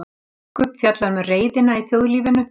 Biskup fjallar um reiðina í þjóðlífinu